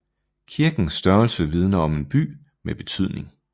Kirkens størrelse vidner om en by med betydning